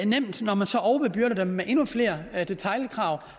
nemt når man så overbebyrder dem med endnu flere detailkrav